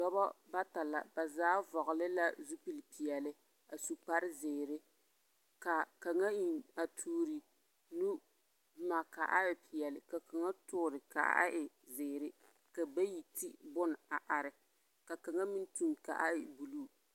Noba bata la ba zaa vɔgele la zupilpeɛle a su kparezeere. Ka a kaŋa eŋ a toori nu boma ka a e peɛle ka kaŋa toore ka a e zeere ka bayi ti boma a are, ka kaŋa meŋ tuŋ ka a e buluu.